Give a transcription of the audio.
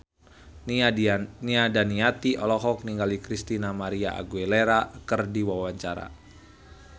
Nia Daniati olohok ningali Christina María Aguilera keur diwawancara